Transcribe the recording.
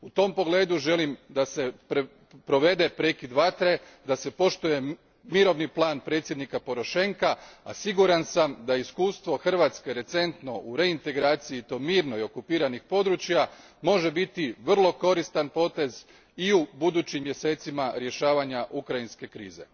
U tom pogledu želim da se provede prekid vatre, poštuje mirovni plan predsjednika Porošenka, a siguran sam da recentno iskustvo Hrvatske u mirnoj reintegraciji okupiranih područja može biti vrlo koristan potez i u budućim mjesecima rješavanja ukrajinske krize.